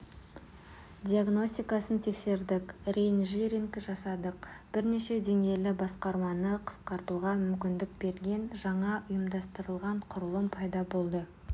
диагностикасын тексердік реинжиниринг жасадық бірнеше деңгейлі басқарманы қысқартуға мүмкіндік берген жаңа ұйымдастырылған құрылым пайда болды